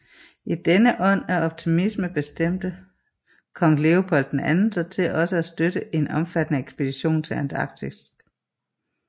I denne ånd af optimisme bestemte kong Leopold II sig til også at støtte en omfattende ekspedition til Antarktis